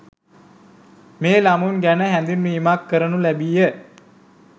මේ ළමුන් ගැන හැඳින්වීමක්‌ කරනු ලැබීය